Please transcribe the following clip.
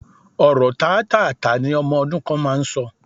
Ọ̀rọ̀ tátáààtá ni ọmọ ọdún kan máa ń sọ